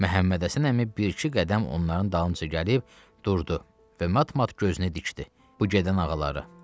Məhəmmədhəsən əmi bir-iki qədəm onların dalınca gəlib durdu və mat-mat gözünü dikdi bu gedən ağalara.